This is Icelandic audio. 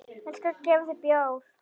Ég skal gefa þér bjór.